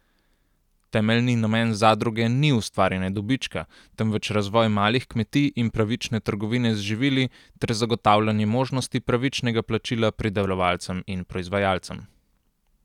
Temeljni namen zadruge ni ustvarjanje dobička, temveč razvoj malih kmetij in pravične trgovine z živili ter zagotavljanje možnosti pravičnega plačila pridelovalcem in proizvajalcem.